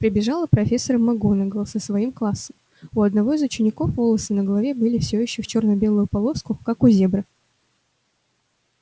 прибежала профессор макгонагалл со своим классом у одного из учеников волосы на голове были все ещё в чёрно-белую полоску как у зебры